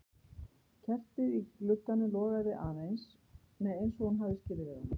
Kertið í glugganum logaði eins og hún hafði skilið við það.